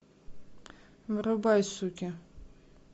врубай суки